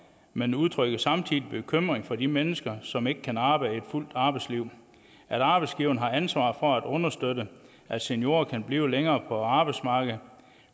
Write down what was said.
men udtrykker samtidig bekymring for de mennesker som ikke kan arbejde et fuldt arbejdsliv at arbejdsgiverne har ansvar for at understøtte at seniorer kan blive længere på arbejdsmarkedet